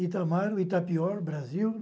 Itamar, o Itapior, Brasil.